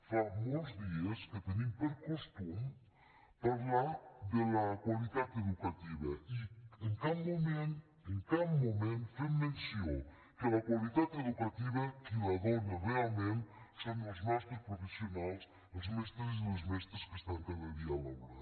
fa molts dies que tenim per costum parlar de la qualitat educativa i en cap moment en cap moment fem menció que la qualitat educativa qui la dóna realment són els nostres professionals els mestres i les mestres que estan cada dia a l’aula